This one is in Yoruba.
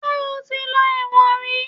Ṣe ó ti lọ ẹ̀wọ̀n rí?